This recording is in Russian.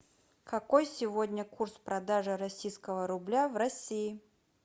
какой сегодня курс продажи российского рубля в россии